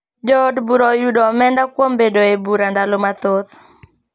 Jo od bura oyudo omenda kuom bedo e bura ndalo mathoth